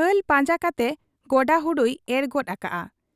ᱦᱟᱞ ᱯᱟᱸᱡᱟ ᱠᱟᱛᱮ ᱜᱚᱰᱟ ᱦᱩᱲᱩᱭ ᱮᱨ ᱜᱚᱫ ᱟᱠᱟᱜ ᱟ ᱾